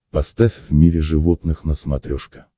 поставь в мире животных на смотрешке